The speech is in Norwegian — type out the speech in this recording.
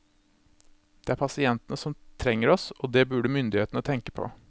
Det er pasientene som trenger oss, og det burde myndighetene tenke på.